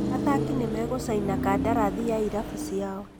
Athaki nĩmegũcaina kandarathi na irabu ciao